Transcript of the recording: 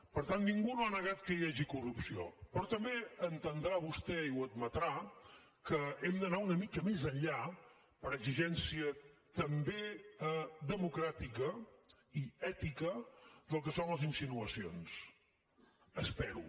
per tant ningú no ha negat que hi hagi corrupció però també entendrà vostè i ho admetrà que hem d’anar una mica més enllà per exigència també democràtica i ètica del que són les insinuacions espero